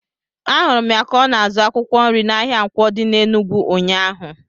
Ahụrụ m ya ka ọ na-azụ akwụkwọ nri n'ahịa Nkwo dị n'Enugwu ụnyaahụ.